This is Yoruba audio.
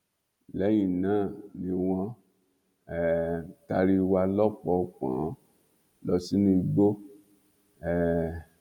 lẹyìn náà ni wọn um taari wa lọpọnpọnọn lọ sínú igbó um